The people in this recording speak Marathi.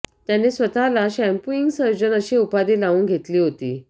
त्याने स्वतःला शाम्पूइंग सर्जन अशी उपाधी लावून घेतली होती